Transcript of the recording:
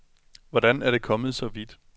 Hvordan er det kommet så vidt?